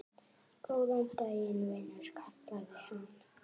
Góðan daginn, vinur kallaði hann.